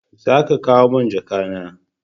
Za ki kawo mun jaka na!